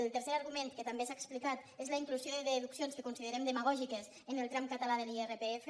el tercer argument que també s’ha explicat és la inclusió de deduccions que considerem demagògiques en el tram català de l’irpf